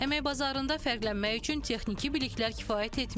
Əmək bazarında fərqlənmək üçün texniki biliklər kifayət etmir.